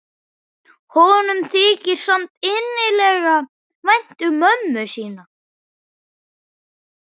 Honum þykir samt innilega vænt um mömmu sína.